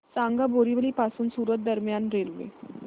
सांगा बोरिवली पासून सूरत दरम्यान रेल्वे